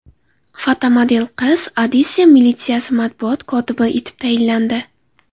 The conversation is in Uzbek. Fotomodel qiz Odessa militsiyasi matbuot kotibi etib tayinlandi.